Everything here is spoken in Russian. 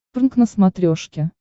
прнк на смотрешке